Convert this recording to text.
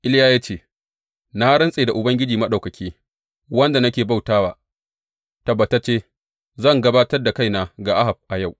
Iliya ya ce, Na rantse da Ubangiji Maɗaukaki, wanda nake bauta wa, tabbatacce zan gabatar da kaina ga Ahab a yau.